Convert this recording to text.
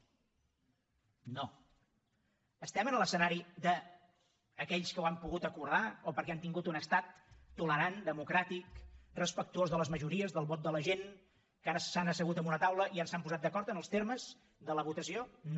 estem en l’escenari d’aquells que ho han pogut acordar o perquè han tingut un estat tolerant democràtic respectuós de les majories del vot de la gent que s’han assegut en una taula i s’han posat d’acord en els termes de la votació no